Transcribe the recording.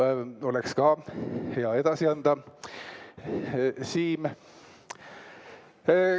See oleks ka hea edasi anda, Siim.